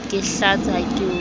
ke hlatse ha ke o